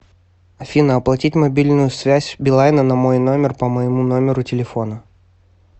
афина оплатить мобильную связь билайна на мой номер по моему номеру телефона